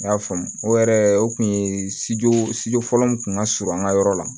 N y'a faamu o yɛrɛ o kun ye sijolɔ min kun ŋa surun an ka yɔrɔ la